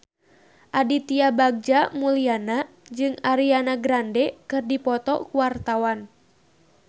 Aditya Bagja Mulyana jeung Ariana Grande keur dipoto ku wartawan